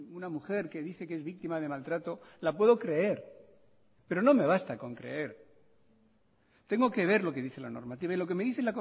una mujer que dice que es víctima de maltrato la puedo creer pero no me basta con creer tengo que ver lo que dice la normativa y lo que me dice